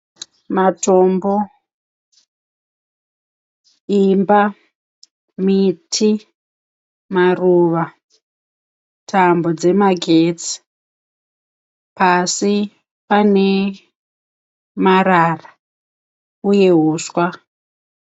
Matombo, imba, miti, maruva, tambo dzemagetsi, pasi pane marara uye huswa.